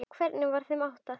Hvernig var þeim háttað?